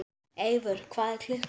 Eivör, hvað er klukkan?